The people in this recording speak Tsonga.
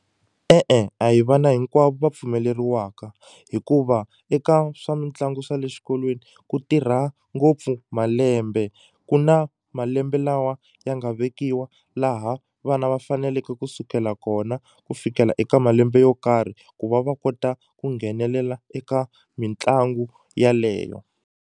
E-e a hi vana hinkwavo va pfumeleriwaka hikuva eka swa mitlangu swa le xikolweni ku tirha ngopfu malembe ku na malembe lawa ya nga vekiwa laha vana va faneleke kusukela kona ku fikela eka malembe yo karhi ku va va kota ku nghenelela eka mitlangu yaleyo.